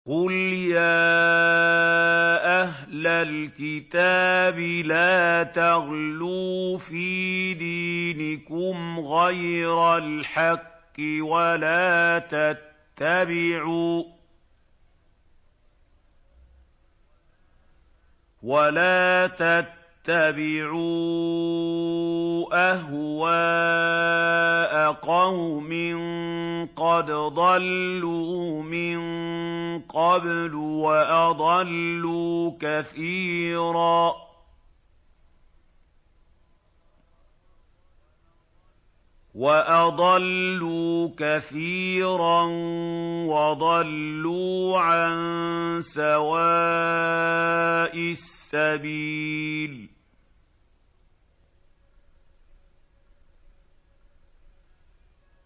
قُلْ يَا أَهْلَ الْكِتَابِ لَا تَغْلُوا فِي دِينِكُمْ غَيْرَ الْحَقِّ وَلَا تَتَّبِعُوا أَهْوَاءَ قَوْمٍ قَدْ ضَلُّوا مِن قَبْلُ وَأَضَلُّوا كَثِيرًا وَضَلُّوا عَن سَوَاءِ السَّبِيلِ